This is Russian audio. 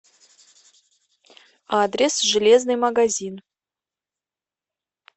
адрес железный магазин